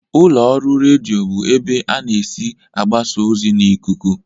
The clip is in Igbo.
Ụlọ ọrụ redio bụ ebe ana esi agbasa ozi n'ikuku.